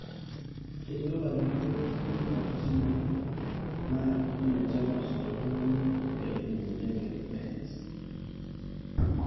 Kejo ilajurok ore ntokitin are na enetipat toltungani petum emoyian e Behet's